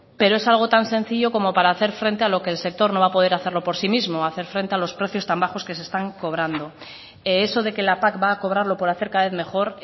pero es algo tan sencillo como para hacer frente a lo que el sector no va a poder hacerlo por sí mismo hacer frente a los precios tan bajos que se están cobrando eso de que la pac va a cobrarlo por hacer cada vez mejor